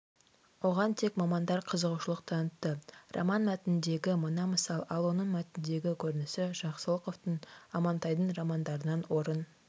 оған тек мамандар қызығушылық танытты роман мәтініндегі мына мысал ал оның мәтіндегі көрінісі жақсылықовтың амантайдың романдарынан орын